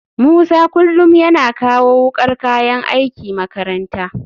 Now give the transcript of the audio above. Musa kullum yana kawo wukar kayan aiki makaranta